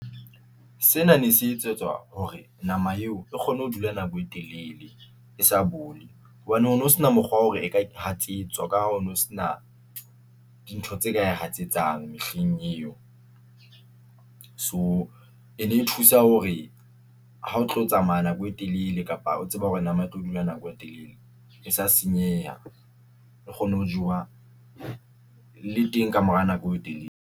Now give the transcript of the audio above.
Sena ne se etsetswa hore nama eo e kgone ho dula nako e telele e sa bole hobane o no sena mokgwa wa hore e ka hatsetswa ka ha o no sena dintho tse ka e hatsetsang mehleng eo. So e ne e thusa hore ha o tlo tsamaya nako e telele kapa o tseba hore nama e tlo dula nako e telele e sa senyeha. Re kgone ho jewa le teng ka mora nako e telele.